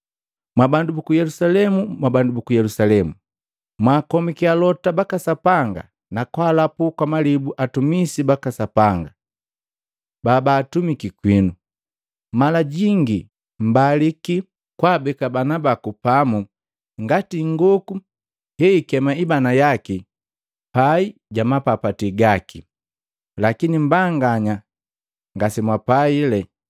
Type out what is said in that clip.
“Mwabandu buku Yelusalemu! Mwabandu buku Yelusalemu! Mwaakomiki alota baka Sapanga na kwaalapu kwa malibu atumisi baka Sapanga babaatumiki kwinu. Mala jingi mbaliki kwaabeka bana baku pamu ngati ingoku heyiikema ibana yaki paijamapapati gaki, lakini mmbanganya ngasemwapaile!